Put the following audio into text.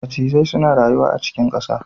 Macizai suna rayuwa a cikin ƙasa